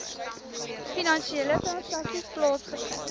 finansiële transaksies plaasgevind